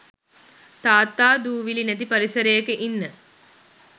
තාත්තා දූවිලි නැති පරිසරයක ඉන්න